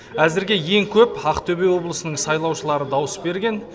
әзірге ең көп ақтөбе облысының сайлаушылары дауыс берген